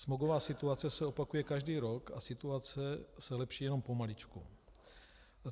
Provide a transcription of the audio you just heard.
Smogová situace se opakuje každý rok a situace se lepší jenom pomaličku.